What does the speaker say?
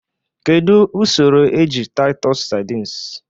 Kedu usoro eji titus sardines?